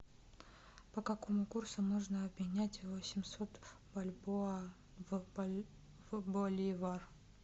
по какому курсу можно обменять восемьсот бальбоа в боливар